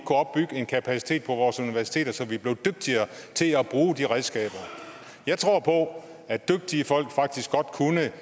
opbygge en kapacitet på vores universiteter så vi blev dygtigere til at bruge de redskaber jeg tror på at dygtige folk faktisk godt kunne